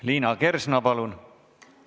Liina Kersna, palun!